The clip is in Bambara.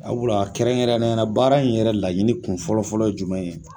Sabula kɛrɛnkɛrɛnnenya la baara in yɛrɛ laɲini kun fɔlɔ fɔlɔ ye jumɛn ye ?